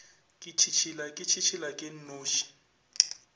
ke tšhitšhila ke tšhitšhilake nnoši